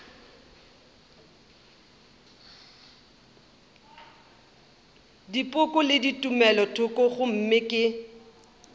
dipoko le tumelothoko gomme ke